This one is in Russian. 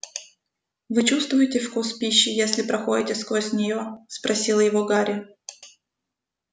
вы чувствуете вкус пищи если проходите сквозь неё спросил его гарри